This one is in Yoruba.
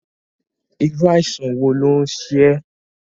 Irú àìsàn wo ló ń ṣe ẹ́?